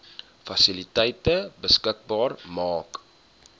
fasiliteite beskikbaar maak